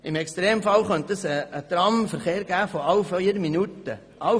Im Extremfall könnte dies zu einem Tramverkehr im Rhythmus von vier Minuten führen.